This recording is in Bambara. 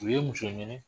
U ye muso ɲini